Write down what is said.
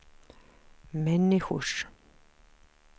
människors